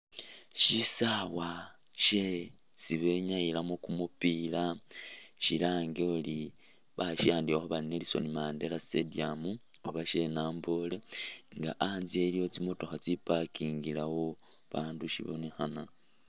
Shisawa shesi benyayilamo kumupila shilange ori basiwandikho bari Nelson Mandela stadium oba she'Namboole nga antsye iliwo tsimotokha tsiparkingilewo babaandu shibonekhana...